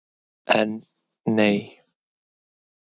En. nei.